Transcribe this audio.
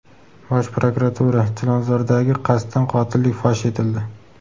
Bosh prokuratura: Chilonzordagi qasddan qotillik fosh etildi.